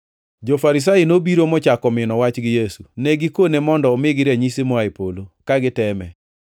Jo-Farisai nobiro mochako mino wach gi Yesu. Ne gikone mondo omigi ranyisi moa e polo, ka giteme.